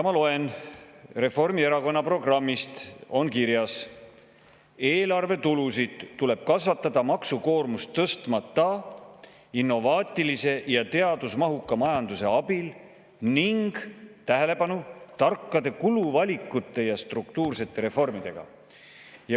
Ma loen Reformierakonna programmi, kus on kirjas: "Eelarvetulusid tuleb kasvatada maksukoormust tõstmata innovaatilise ja teadusmahuka majanduse abil ning tarkade kuluvalikute ja struktuursete reformidega.